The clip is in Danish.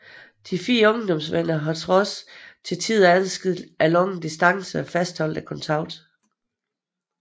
De fire ungdomsvenner har trods til tider adskilt af lange distancer fastholdt kontakten